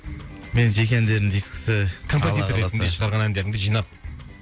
менің жеке әндерімнің дискісі алла қаласа композитор ретінді шығарған әндеріңді жинап